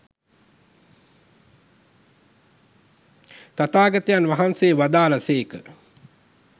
තථාගතයන් වහන්සේ වදාළ සේක.